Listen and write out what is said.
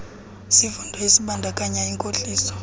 sifundo esibandakanya inkohliso